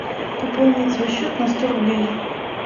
пополнить свой счет на сто рублей